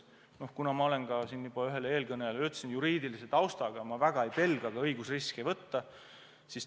Nagu ma siin juba ühele eelküsijale ütlesin, ma olen juriidilise taustaga ja väga ei pelga õigusriske võtta.